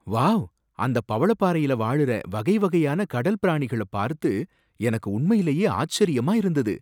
Wow! அந்தப் பவளப்பாறையில வாழுற வகை வகையான கடல் பிராணிகள பார்த்து எனக்கு உண்மையிலேயே ஆச்சரியமா இருந்தது